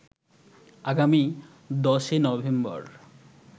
আগামী ১০ নভেম্বর